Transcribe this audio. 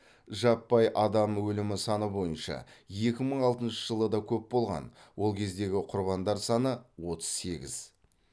жаппай адам өлімі саны бойынша екі мың алтыншы жылы да көп болған ол кездегі құрбандар саны отыз сегіз